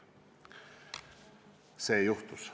See juhtus.